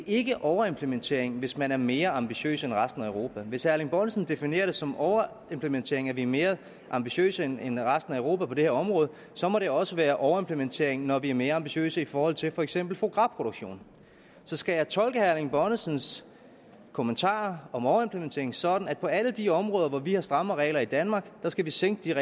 ikke overimplementering hvis man er mere ambitiøs end resten af europa hvis herre erling bonnesen definerer det som overimplementering at vi er mere ambitiøse end end resten af europa på det her område så må det også være overimplementering når vi er mere ambitiøse i forhold til for eksempel fois gras produktion så skal jeg tolke herre erling bonnesens kommentarer om en overimplementering sådan at på alle de områder hvor vi har strammere regler i danmark skal vi sænke